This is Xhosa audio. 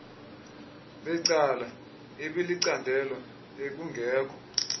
becala ibilicandelo ekungekho